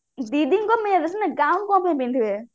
ଦିଦିଙ୍କ କଣ ପାଇଁ ପିନ୍ଧିବେ